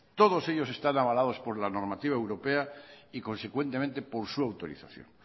todos ellos están avalados por la normativa europea y consecuentemente por su autorización